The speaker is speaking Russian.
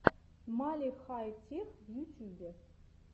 мали хай тех в ютьюбе